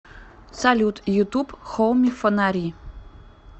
салют ютуб хоуми фонари